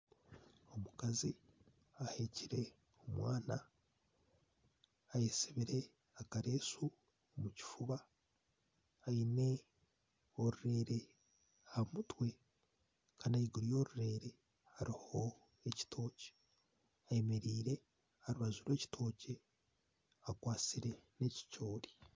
Omukazi aheekire omwana ayesibire akaresu omu kifuba aine orurere aha mutwe Kandi ahaiguru yorurere hariho ebitookye ayemereire aha rubaju rw'ekitookye akwatsire ekicoori